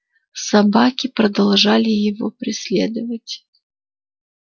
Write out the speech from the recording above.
собаки продолжали его преследовать